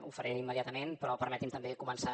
ho faré immediatament però permeti’m també començar